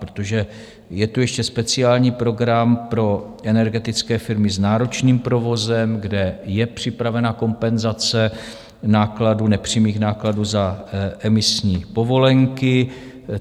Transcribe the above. Protože je tu ještě speciální program pro energetické firmy s náročným provozem, kde je připravena kompenzace nákladů, nepřímých nákladů za emisní povolenky.